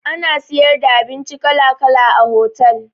Ana siyar da abinci kala kala a hotal